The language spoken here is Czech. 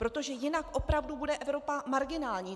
Protože jinak opravdu bude Evropa marginální.